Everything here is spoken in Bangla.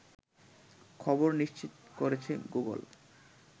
খবর নিশ্চিত করেছে গুগল